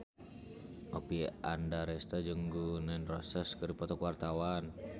Oppie Andaresta jeung Gun N Roses keur dipoto ku wartawan